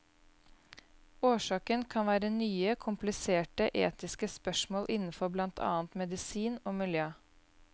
Årsaken kan være nye, kompliserte etiske spørsmål innenfor blant annet medisin og miljø.